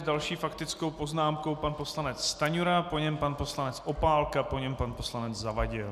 S další faktickou poznámkou pan poslanec Stanjura, po něm pan poslanec Opálka, po něm pan poslanec Zavadil.